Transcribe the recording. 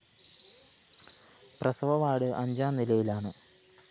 പ്രസവ വാർഡ്‌ അഞ്ചാം നിലയിലാണ്